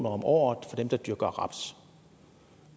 om året for dem der dyrker raps